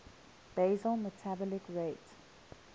basal metabolic rate